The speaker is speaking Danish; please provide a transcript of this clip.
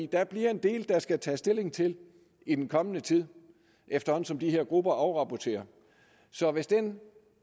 der bliver en del der skal tages stilling til i den kommende tid efterhånden som de her grupper afrapporterer så hvis den